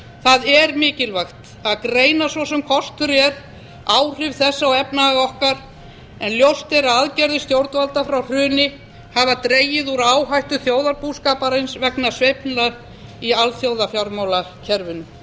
það er mikilvægt að greina svo sem kostur er áhrif þess á efnahag okkar en ljóst er að aðgerðir stjórnvalda frá hruni hafa dregið úr áhættu þjóðarbúskaparins vegna sveiflna í alþjóðafjármálakerfinu